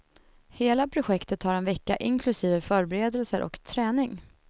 Hela projektet tar en vecka, inklusive förberedelser och träning.